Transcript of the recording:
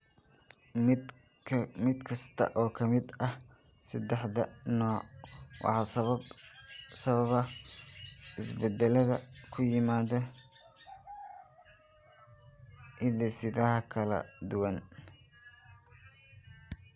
Mid kasta oo ka mid ah saddexda nooc waxaa sababa isbeddellada ku yimaadda hidde-sidaha kala duwan.